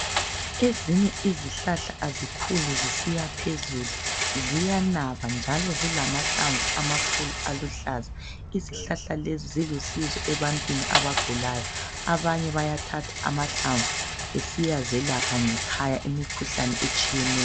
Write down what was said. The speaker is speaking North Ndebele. Ezinye izihlahla azikhuli zisiyaphezulu, ziyanaba njalo zilamahlamvu amakhulu aluhlaza. Izihlahla lezi zilusizo ebantwini abagulayo, abanye bayathatha amahlamvu besiyazelapha ngekhaya imikhuhlane etshiyeneyo.